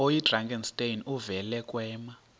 oyidrakenstein uvele kwema